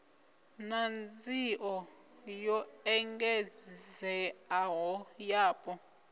na nzio yo engedzeaho yapo